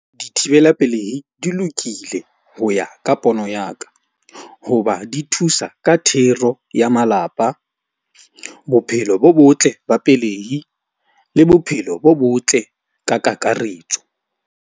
Dithibela pelehi di lokile ho ya ka pono ya ka. Hoba di thusa ka thero ya malapa, bophelo bo botle ba pelehi le bophelo bo botle ka kakaretso.